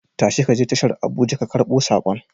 Tashi ka je tashar Abuja ka karbo saƙon.